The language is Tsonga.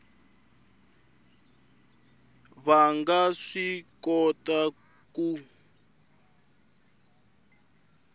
va nga swi kota ku